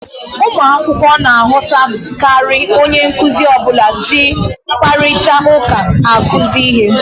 Ụmụ akwụkwọ na-aghọtakarị onye nkuzi ọbụla ji mkparịta ụka akụzi ihe